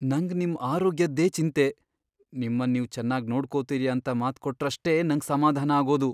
ನಂಗ್ ನಿಮ್ ಆರೋಗ್ಯದ್ದೇ ಚಿಂತೆ.. ನಿಮ್ಮನ್ ನೀವು ಚೆನ್ನಾಗ್ ನೋಡ್ಕೊತೀರಿ ಅಂತ ಮಾತ್ಕೊಟ್ರಷ್ಟೇ ನಂಗ್ ಸಮಾಧಾನ ಆಗೋದು.